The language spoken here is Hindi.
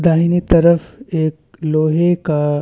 दाहिने तरफ एक लोहे का--